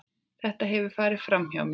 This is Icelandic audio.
Þetta hefur farið framhjá mér!